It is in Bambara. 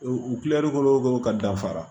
U u kilɛri kolo kolo ka dafa